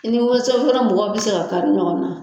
I ni ka kɛla mɔgɔ bɛ se ka kari ɲɔgɔn na.